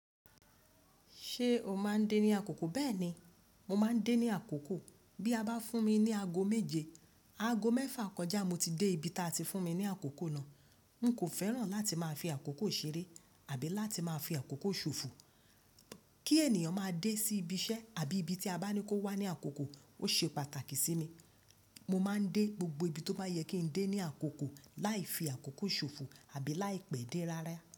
Ṣé o máa ń dé ní àkókò? Bẹ́ẹ̀ni, mo máa ń dé ní àkókò. Bí a bá fún mi ní aago méje, aago mẹ́fà kọjá mo ti dé ibi tí a ti fún mi ní àkókò náà. N kò fẹ́ràn láti máa fi àkókò ṣeré àbí láti máa fi àkókò ṣòfò. Kí ènìyàn máa dé sí ibi iṣẹ́ àbí ibi tí a bá ní kó wá ní àkókò ó ṣe pàtàkì sí mi. Mo máa ń dé gbogbo ibi tó bá yẹ kí n dé ní àkókò láì fi àkókò ṣòfò àbí láì pẹ́ dé rárá.